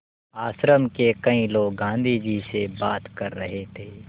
आश्रम के कई लोग गाँधी जी से बात कर रहे थे